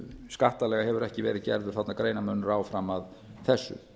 skattalega hefur ekki verið gerður þarna greinarmunur á fram að þessu